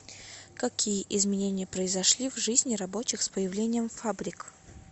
какие изменения произошли в жизни рабочих с появлением фабрик